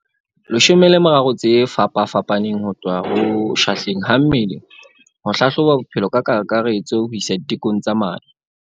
13 tse fapafapa neng ho tloha ho shahleng ha mmele ho hlahloba bophelo ka kakaretso ho isa ditekong tsa madi.